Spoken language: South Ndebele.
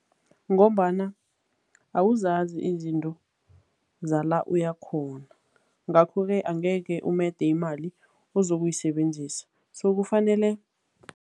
Ngombana awuzazi izinto zala uyakhona ngakho-ke angeke umede imali ozoyisebenzisa so kufanele.